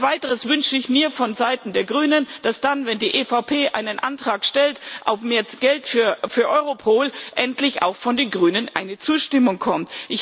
Als Weiteres wünsche ich mir vonseiten der Grünen, dass dann, wenn die EVP einen Antrag auf mehr Geld für Europol stellt, endlich auch von den Grünen eine Zustimmung kommt.